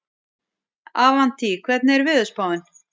Avantí, hvernig er veðurspáin?